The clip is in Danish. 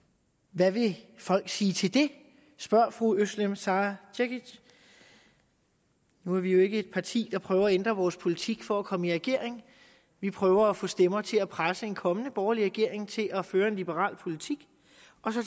hvad vil folk sige til det spørger fru özlem sara cekic nu er vi jo ikke et parti der prøver at ændre vores politik for at komme i regering vi prøver at få stemmer til at presse en kommende borgerlig regering til at føre en liberal politik